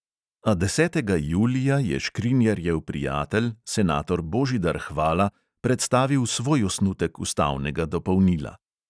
A desetega julija je škrinjarjev prijatelj, senator božidar hvala, predstavil svoj osnutek ustavnega dopolnila.